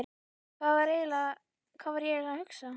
Hvað var ég eiginlega að hugsa?